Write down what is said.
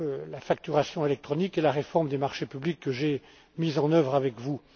la facturation électronique et la réforme des marchés publics que j'ai mis en œuvre avec vous.